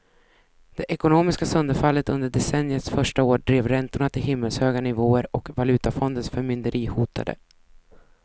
Det ekonomiska sönderfallet under decenniets första år drev räntorna till himmelshöga nivåer och valutafondens förmynderi hotade.